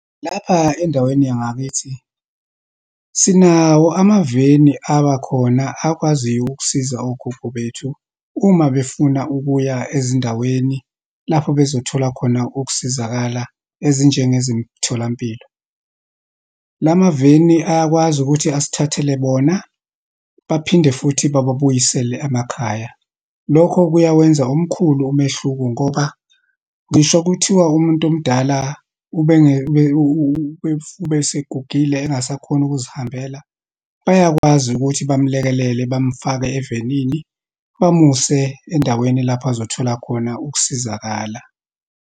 Lapha endaweni yangakithi, sinawo amaveni abakhona akwaziyo ukusiza ogogo bethu uma befuna ukuya ezindaweni lapho bezothola khona ukusizakala, ezinjengezemtholampilo. La maveni, ayakwazi ukuthi asithathele bona, baphinde futhi bababuyisele emakhaya. Lokho kuyawenza omkhulu umehluko, ngoba ngisho kuthiwa umuntu omdala ube, ube, ubesegugile engasakhoni ukuzihambela, bayakwazi ukuthi bamlekelele, bamfake evenini, bamuse endaweni lapho azothola khona ukusizakala.